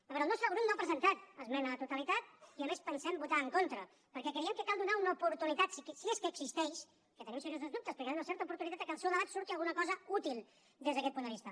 a veure el nostre grup no hi ha presentat esmena a la totalitat i a més hi pensem votar en contra perquè creiem que cal donar una oportunitat si és que existeix que en tenim seriosos dubtes perquè del seu debat en surti alguna cosa útil des d’aquest punt de vista